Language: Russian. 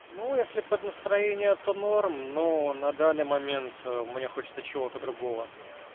ну если под настроение это норм но на данный момент мне хочется чего-то другого